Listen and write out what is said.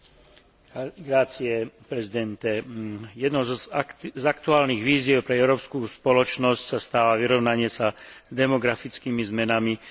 Jednou z aktuálnych výziev pre európsku spoločnosť sa stáva vyrovnanie sa s demografickými zmenami zvyšujúcimi tlak na štátne rozpočty.